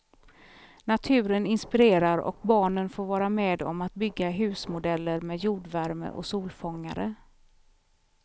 Naturen inspirerar och barnen får vara med om att bygga husmodeller med jordvärme och solfångare.